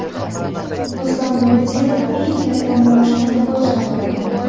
Ruslan Nuriddinov: Eng katta maoshni futbolchilar oladi.